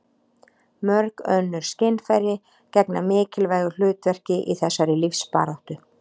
mörg önnur skynfæri gegna mikilvægu hlutverki í þessari lífsbaráttu